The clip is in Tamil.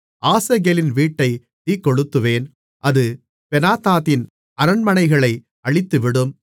ஆசகேலின் வீட்டை தீக்கொளுத்துவேன் அது பெனாதாதின் அரண்மனைகளை அழித்துவிடும்